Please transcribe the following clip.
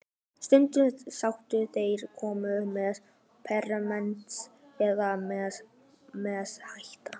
Stundum sátu þar konur með permanent eða menn með hatta.